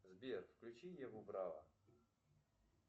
сбер включи еву браво